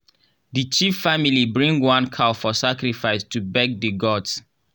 the chief family bring one cow for sacrifice to beg the gods.